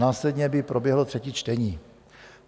Následně by proběhlo třetí čtení.